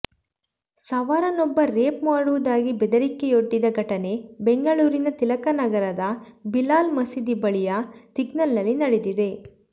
ಸವಾರನೊಬ್ಬ rape ಮಾಡುವುದಾಗಿ ಬೆದರಿಕೆಯೊಡ್ಡಿದ ಘಟನೆ ಬೆಂಗಳೂರಿನ ತಿಲಕನಗರದ ಬಿಲಾಲ್ ಮಸೀದಿ ಬಳಿಯ ಸಿಗ್ನಲ್ನಲ್ಲಿ ನಡೆದಿದೆ